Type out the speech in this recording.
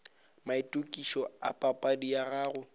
maitokišo a papadi ya gago